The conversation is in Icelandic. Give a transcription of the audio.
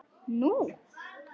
Nú?